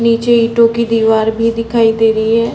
नीचे ईटो की दीवार भी दिखाई दे रही है।